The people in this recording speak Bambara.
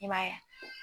I m'a ye